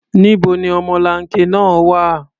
Níbo ni ọmọlanke náà wà?